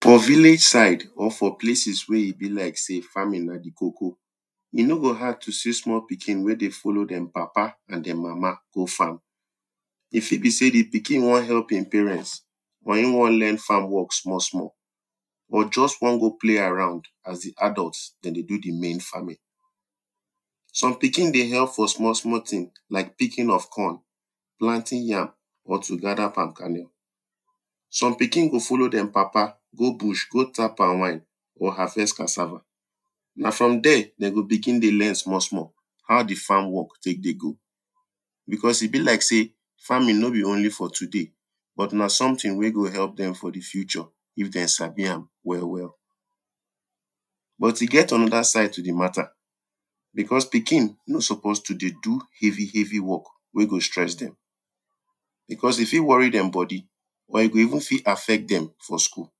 For village side or for places wey e be like sey farming na di koko, e no go hard to see small pikin wen dey follow dem papa and sem mama go farm. If e be sey di pikin wan help im parents or e wan learn farn work small small, or wan just go play around as di adults dem dey do di main farming. Some pikin dey help for small small thing, like picking of corn, planting yam or to gather palm karnel. Some pikin go follow dem papa go bush go tap palm wine or go harvest cassava, na from there dem go begin dey learn small small how di farm work take dey go because e be like sey farming no be only for today, but na some thing wen go help dem for di future if dem sabi am well well. But e get another side to di matter because pikin no suppose to dey do heavy heavy work wen go stress dem. Because e fit worry dem body or e fit even affect dem for school.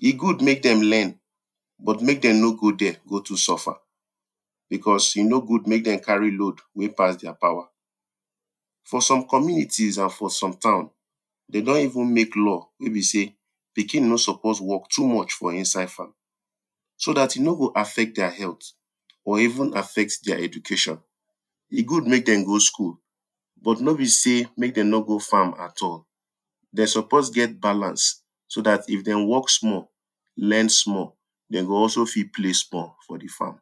E good make dem learn but make dem nor go there go too go suffer, because e no good make dem carry load wen pass dem power, for some communities or for some town, dem don even make law wey be sey pikin no suppose work too much for inside farm so dat e no go affect their health or even affect their education. E good make dem go school but nor be sey make dem no go farm at all. Dem suppose get balance so dat if dem work small, learn small dem go also fit play small for di farm.